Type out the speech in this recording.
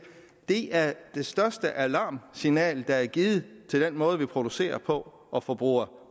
det er det største alarmsignal der er givet til den måde vi producerer på og forbruger